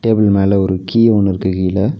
மேல ஒரு கீ ஒன்னிருக்கு கீழ.